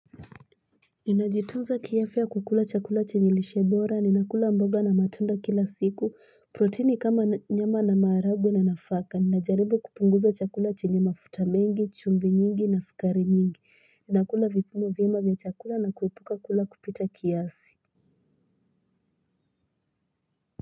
Ninajitunza ki afya kwa kula chakula chenye lishe bora, ninakula mboga na matunda kila siku, protini kama nyama na maharagwe na nafaka, ninajaribu kupunguza chakula chenye mafuta mengi, chumvi nyingi na sukari nyingi, ninakula vipimo vyema vya chakula na kuepuka kula kupita kiasi.